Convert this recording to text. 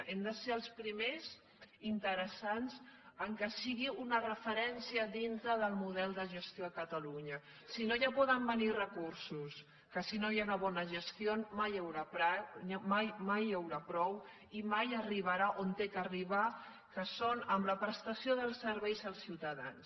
hem de ser els primers interessats que sigui una referència dintre del model de gestió a catalunya si no ja poden venir recursos que si no hi ha una bona gestió mai n’hi haurà prou i mai arribarà on ha d’arribar que és amb la prestació dels serveis als ciutadans